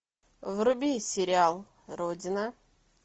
вруби сериал родина